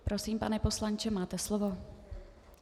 Prosím, pane poslanče, máte slovo.